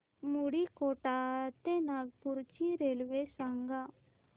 मुंडीकोटा ते नागपूर ची रेल्वे सांगा